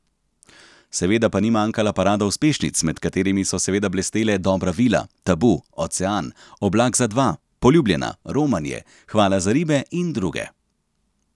Seveda pa ni manjkala parada uspešnic, med katerimi so seveda blestele Dobra vila, Tabu, Ocean, Oblak za dva, Poljubljena, Romanje, Hvala za ribe in druge.